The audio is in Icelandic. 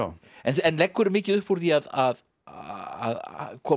en leggurðu mikið upp úr því að að að koma